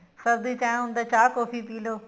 ਸਰਦੀ ਚ ਏਵੇਂ ਹੁੰਦਾ ਚਾਹ ਕੋਫ਼ੀ ਪੀ ਲੋ